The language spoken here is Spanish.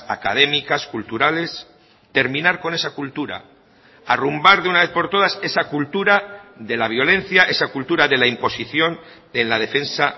académicas culturales terminar con esa cultura arrumbar de una vez por todas esa cultura de la violencia esa cultura de la imposición en la defensa